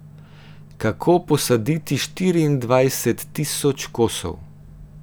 Kako posaditi štiriindvajset tisoč kosov?